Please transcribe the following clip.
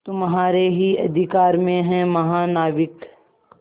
तुम्हारे ही अधिकार में है महानाविक